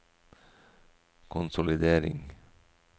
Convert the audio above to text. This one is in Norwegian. konsolidering